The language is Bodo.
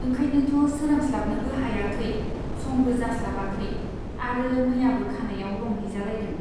ओंखायनोथ' सोरांस्लाबनोबो हायाखै , समबो जास्लाबाखै आरो मैयाबो खानाइयाव रं हैजालायदों।